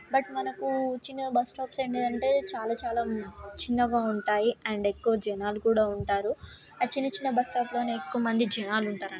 But మనకు చిన్నగా bus stop ఏంటి అంటే చాలా చాలా చిన్నగా ఉంటాయి. అండ్ ఎక్కువగా జనాలు కూడా ఉంటారు. ఆ చిన్న చిన్న బస్ స్టాప్ లోని ఎక్కువ జనాలు ఉంటారండి.